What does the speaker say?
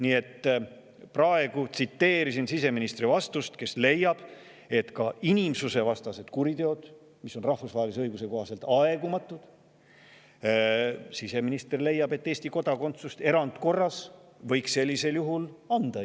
Nii et siseminister leiab oma vastuses, et ka inimsusevastaste kuritegude korral, mis on rahvusvahelise õiguse kohaselt aegumatud, võib Eesti kodakondsuse inimesele erandkorras anda.